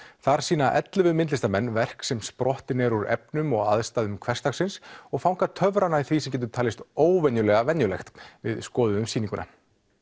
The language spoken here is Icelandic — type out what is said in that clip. þar sýna ellefu myndlistamenn verk sem sprottin eru úr efnum og aðstæðum hversdagsins og fanga töfrana í því sem getur talist óvenjulega venjulegt við skoðuðum sýninguna